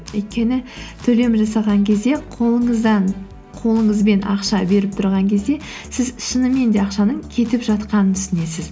өйткені төлем жасаған кезде қолыңызбен ақша беріп тұрған кезде сіз шынымен де ақшаның кетіп жатқанын түсінесіз